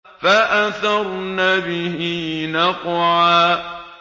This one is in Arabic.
فَأَثَرْنَ بِهِ نَقْعًا